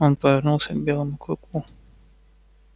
он повернулся к белому клыку